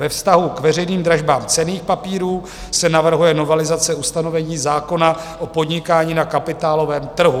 Ve vztahu k veřejným dražbám cenných papírů se navrhuje novelizace ustanovení zákona o podnikání na kapitálovém trhu.